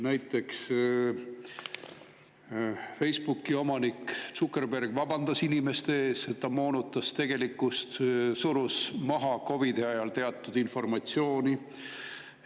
Näiteks Facebooki omanik Zuckerberg vabandas inimeste ees, et ta moonutas tegelikkust, surus COVID-i ajal teatud informatsiooni maha.